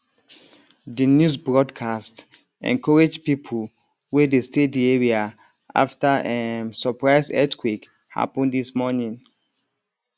di news broadcast encourage people wey dey stay di area after um surprise earthquake happen this morning